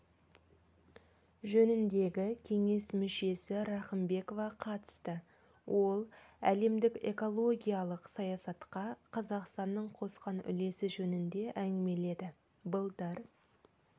жөніндегі кеңес мүшесі рахымбекова қатысты ол әлемдік экологиялық саясатқа қазақстанның қосқан үлесі жөнінде әңгімеледі былтыр